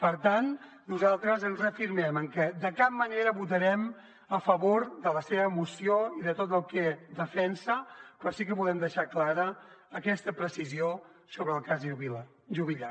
per tant nosaltres ens reafirmem en que de cap manera votarem a favor de la seva moció i de tot el que defensa però sí que volem deixar clara aquesta precisió sobre el cas juvillà